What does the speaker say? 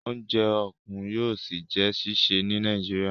Oúnjẹ okun yóò sí jé ṣiṣẹ ní Nàìjíríà.